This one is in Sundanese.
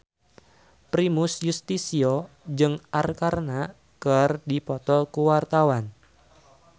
Primus Yustisio jeung Arkarna keur dipoto ku wartawan